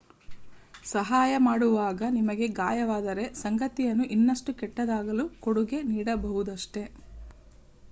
ಸಹಾಯ ಮಾಡುವಾಗ ನಿಮಗೆ ಗಾಯವಾದರೆ ಸಂಗತಿಯನ್ನು ಇನ್ನಷ್ಟು ಕೆಟ್ಟದಾಗಲು ಕೊಡುಗೆ ನೀಡಬಹುದಷ್ಟೇ